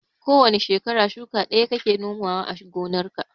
Ko wane shekara shuka ɗaya kake nomawa a gonarka.